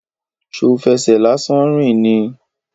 Ṣo fẹsẹ̀ lásán rìn ni?